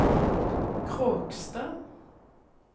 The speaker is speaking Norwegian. Kråkstad